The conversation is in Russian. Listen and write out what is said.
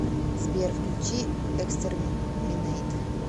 сбер включи экстэрминэйт